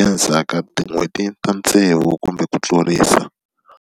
endzhaku ka tin'hweti ta tsevu kumbe ku tlurisa.